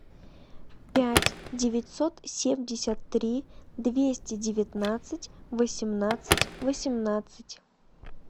пять девятьсот семьдесят три двести девятнадцать восемнадцать восемнадцать